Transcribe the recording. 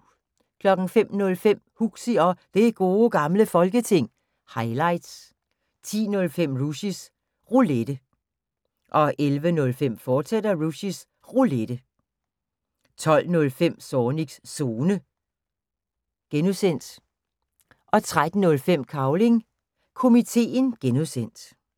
05:05: Huxi og Det Gode Gamle Folketing – highlights 10:05: Rushys Roulette 11:05: Rushys Roulette, fortsat 12:05: Zornigs Zone (G) 13:05: Cavling Komiteen (G)